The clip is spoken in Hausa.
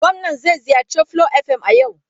Gwamnan zai ziyarci Flo FM a yau.